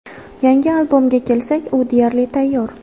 Yangi albomga kelsak, u deyarli tayyor.